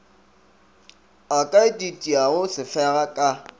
a ka ititiago sefega ka